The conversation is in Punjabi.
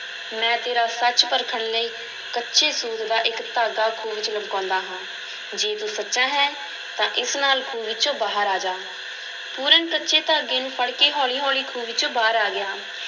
ਮੈਂ ਤੇਰਾ ਸੱਚ ਪਰਖਣ ਲਈ ਕੱਚੇ ਸੂਤ ਦਾ ਇੱਕ ਧਾਗਾ ਖੂਹ ਵਿੱਚ ਲਮਕਾਉਂਦਾ ਹਾਂ, ਜੇ ਤੂੰ ਸੱਚਾ ਹੈਂ ਤਾਂ ਇਸ ਨਾਲ ਖੂਹ ਵਿੱਚੋਂ ਬਾਹਰ ਆ ਜਾ, ਪੂਰਨ ਕੱਚੇ ਧਾਗੇ ਨੂੰ ਫੜ ਕੇ ਹੌਲੀ-ਹੌਲੀ ਖੂਹ ਵਿੱਚੋਂ ਬਾਹਰ ਆ ਗਿਆ।